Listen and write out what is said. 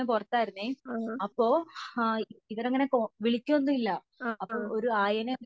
ആ ആ